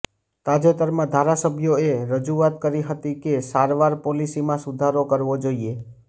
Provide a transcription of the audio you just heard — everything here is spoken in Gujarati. તાજેતરમાં ધારાસભ્યોએ રજૂઆત કરી હતી કે સારવાર પોલિસીમાં સુધારો કરવો જોઇએ